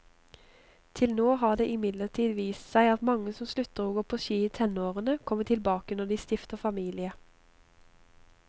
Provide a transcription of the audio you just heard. Til nå har det imidlertid vist seg at mange som slutter å gå på ski i tenårene, kommer tilbake når de stifter familie.